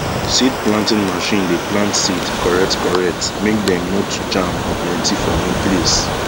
seed planting machine dey plant seed correct correct make dem no too jam or plenty for one place